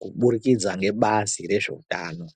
kuburikidza ngebazi rezveutano.